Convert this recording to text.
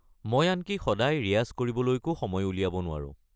মই আনকি সদায় ৰিয়াজ কৰিবলৈকো সময় উলিয়াব নোৱাৰো।